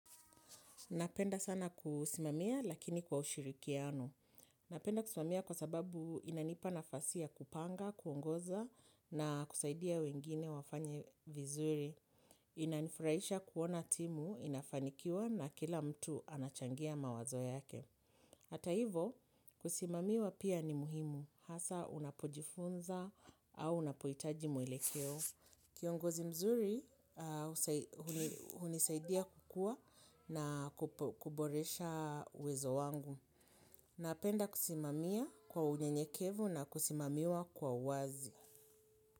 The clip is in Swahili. Napenda sana kusimamia lakini kwa ushirikiano. Napenda kusimamia kwa sababu inanipa nafasia ya kupanga, kuongoza na kusaidia wengine wafanye vizuri. Inanifurahisha kuona timu, inafanikiwa na kila mtu anachangia mawazo yake. Hata hivo, kusimamiwa pia ni muhimu. Hasa unapojifunza au unapo hitaji muelekeo. Kiongozi mzuri, hunisaidia kukua na kuboresha uwezo wangu. Napenda kusimamia kwa unyenyekevu na kusimamiwa kwa wazi.